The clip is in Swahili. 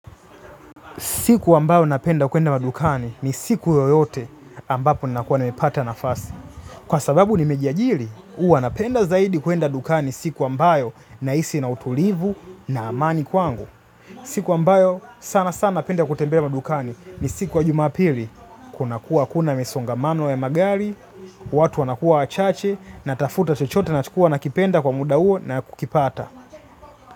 Siku ambayo napenda kuenda madukani ni siku yoyote ambapo nakuwa nimepata nafasi. Kwa sababu nimejiajiri, huwa napenda zaidi kuenda dukani siku ambayo nahisi na utulivu na amani kwangu. Siku ambayo sana sana napenda kutembea madukani ni siku ya jumapili. Kunakuwa hakuna misongamano ya magari, watu wanakuwa wachache natafuta chochote nachokuwa nakipenda kwa muda huo na kukipata.